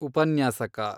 ಉಪನ್ಯಾಸಕ